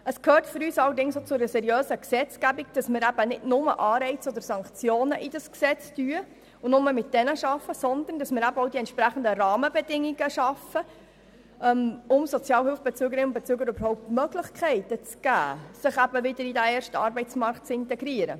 Es gehört für uns allerdings auch zu einer seriösen Gesetzgebung, nicht nur Anreize oder Sanktionen ins Gesetz einzubeziehen und nur mit diesen Mitteln zu arbeiten, sondern auch, die entsprechenden Rahmenbedingungen dafür zu schaffen, dass die Sozialhilfebeziehenden überhaupt Möglichkeiten erhalten, sich wieder in diesen ersten Arbeitsmarkt zu integrieren.